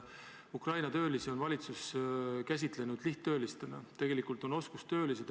Ukraina töölisi on valitsus käsitlenud lihttöölistena, tegelikult on nad oskustöölised.